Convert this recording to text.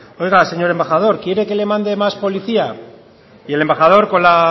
oiga señor embajador quiere que le mande más policía y el embajador con la